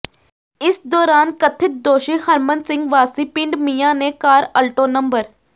ਇਸ ਦੌਰਾਨ ਕਥਿਤ ਦੋਸ਼ੀ ਹਰਮਨ ਸਿੰਘ ਵਾਸੀ ਪਿੰਡ ਮੀਆਂ ਨੇ ਕਾਰ ਅਲਟੋ ਨੰਬਰ